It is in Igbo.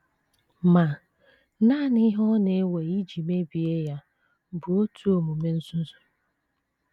Ma, nanị ihe ọ na - ewe iji mebie ya bụ otu omume nzuzu.